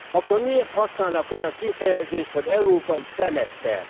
Akkor miért használnak olyan kifejezést, hogy európai szemeszter.